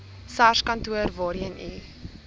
sarskantoor waarheen u